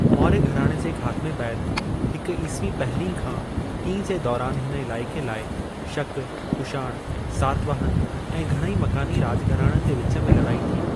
मौर्य घराणे जे ख़ात्मे बैदि, हिक ईस्वी पहिरीं खां टीं जे दौरानि हिन इलाइक़े लाइ शक, कुषाण, सातवाहन ऐं घणई मकानी राॼ घराणनि जे विच में लड़ाई थी।